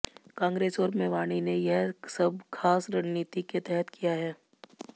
कांग्रेस और मेवाणी ने यह सब खास रणनीति के तहत किया है